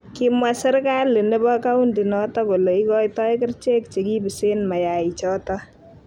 kimwa serkali nebo kauntinoto kole ikoitoi kerichek chekipisen mayaichoto